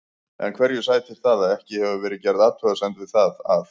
En hverju sætir það að ekki hefur verið gerð athugasemd við það að